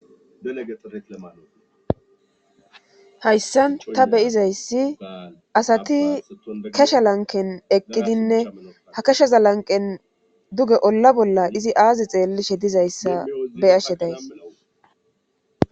Hayssan ta beyizayssi asati kesha lanken eqqidinne ha kesheza lanqen duge olla bolla izi aazi xeellishe dizayssa beyashe days